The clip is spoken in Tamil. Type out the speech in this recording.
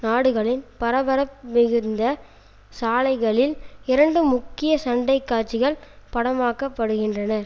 நாடுகளின் பரபரப்பு மிகுந்த சாலைகளில் இரண்டு முக்கிய சண்டைக்காட்சிகள் படமாக்கப்படுகின்றன